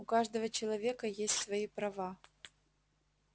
у каждого человека есть свои права